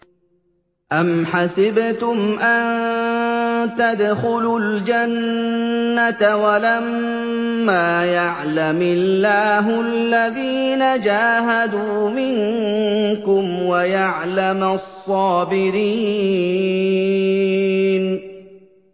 أَمْ حَسِبْتُمْ أَن تَدْخُلُوا الْجَنَّةَ وَلَمَّا يَعْلَمِ اللَّهُ الَّذِينَ جَاهَدُوا مِنكُمْ وَيَعْلَمَ الصَّابِرِينَ